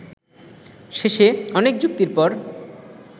শেষে অনেক যুক্তির পর